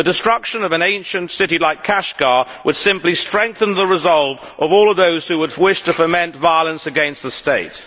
The destruction of an ancient city like Kashgar would simply strengthen the resolve of all of those who would wish to foment violence against the state.